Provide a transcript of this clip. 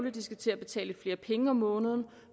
at de skal til at betale lidt flere penge om måneden